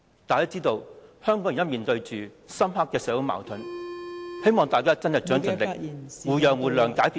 大家知道香港現時面對深刻的社會矛盾......希望大家真的盡力，互讓互諒，解決問題。